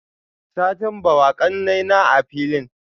satin bawa, kanaina a filin?